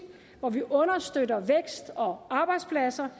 hvor vi understøtter vækst og arbejdspladser